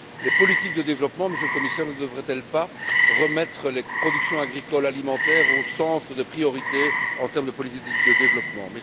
Les politiques de développement, Monsieur le Commissaire, ne devraient elles pas remettre les productions agricoles alimentaires au centre des priorités en termes de politique de développement?